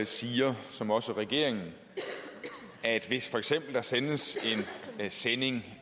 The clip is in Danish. siger som også regeringen at hvis der for eksempel sendes en sending